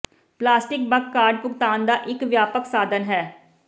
plastic ਬਕ card ਭੁਗਤਾਨ ਦਾ ਇੱਕ ਵਿਆਪਕ ਸਾਧਨ ਹੈ